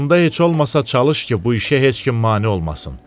Onda heç olmasa çalış ki, bu işə heç kim mane olmasın.